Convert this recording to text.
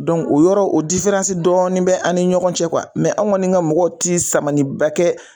Donc o yɔrɔ o diferansi dɔɔnin be an ni ɲɔgɔn cɛ kuwa mɛ an kɔni ka mɔgɔ ti saniba kɛ